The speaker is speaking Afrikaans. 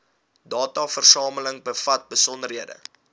dataversameling bevat besonderhede